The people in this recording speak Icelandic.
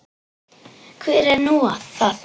Hver er nú það?